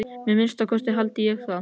Að minnsta kosti haldi ég það.